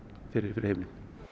fyrir fyrir heimilin